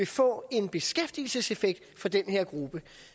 få en beskæftigelseseffekt for den her gruppe